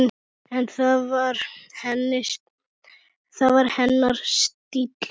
En það var hennar stíll.